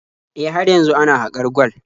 E, har yanzu ana haƙar gwal.